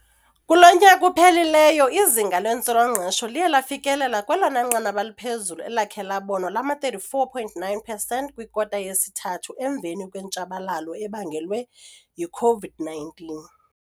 Kulo nyaka uphelileyo, izinga lentswela-ngqesho liye lafikelela kwelona nqanaba liphezulu elakhe labonwa lama-34.9 percent kwikota yesithathu, emveni kwentshabalalo ebangelwe yi-COVID-19.